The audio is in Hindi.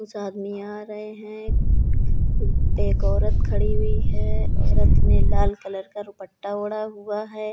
कुछ आदमी आ रहे हैं। एक औरत खड़ी हुई है। औरत ने लाल कलर का दुपट्टा ओढा हुआ है।